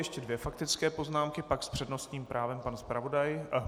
Ještě dvě faktické poznámky, pak s přednostním právem pan zpravodaj.